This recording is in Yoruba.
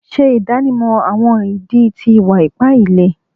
Ṣe idanimọ awọn idi ti iwa-ipa ile